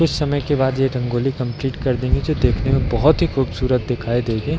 कुछ समय के बाद ये रंगोली कम्प्लीट कर देंगे जो देखने में बहोत ही खूबसूरत दिखाई देगी।